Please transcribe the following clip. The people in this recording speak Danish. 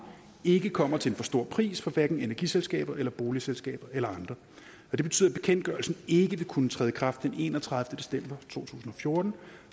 ikke kommer til en for stor pris hverken for energiselskaber eller for boligselskaber eller andre og det betyder at bekendtgørelsen ikke vil kunne træde i kraft den enogtredivete december to tusind og fjorten